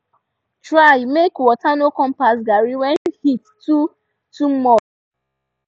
try make water no come pass garri when heat too too much